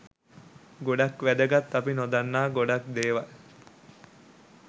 ගොඩක් වැදගත් අපි නොදන්නා ගොඩක් දේවල්